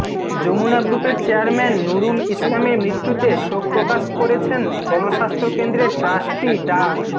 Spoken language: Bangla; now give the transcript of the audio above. যমুনা গ্রুপের চেয়ারম্যান নুরুল ইসলামের মৃত্যুতে শোক প্রকাশ করেছেন গণস্বাস্থ্য কেন্দ্রের ট্রাস্টি ডা